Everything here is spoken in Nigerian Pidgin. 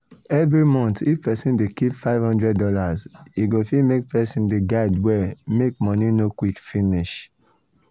every month if person dey keep five hundred dollars e go fit make person de guide well make money no quick finish.